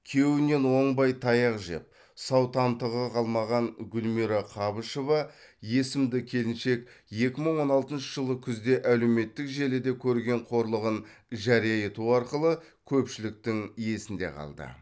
күйеуінен оңбай таяқ жеп сау тамтығы қалмаған гүлмира қабышева есімді келіншек екі мың он алтыншы жылы күзде әлеуметтік желіде көрген қорлығын жария ету арқылы көпшіліктің есінде қалды